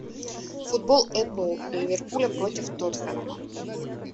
футбол апл ливерпуля против тоттенхэма